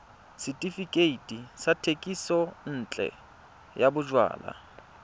setefikeiti sa thekisontle ya bojalwa